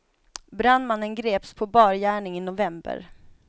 Brandmannen greps på bar gärning i november.